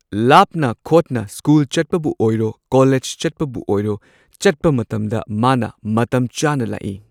ꯂꯥꯞꯅ ꯈꯣꯡꯅ ꯁ꯭ꯀꯨꯜ ꯆꯠꯄꯕꯨ ꯑꯣꯏꯔꯣ ꯀꯣꯂꯦꯖ ꯆꯠꯄꯕꯨ ꯑꯣꯏꯔꯣ ꯆꯠꯄ ꯃꯇꯝꯗ ꯃꯥꯅ ꯃꯇꯝ ꯆꯥꯅ ꯂꯥꯛꯏ꯫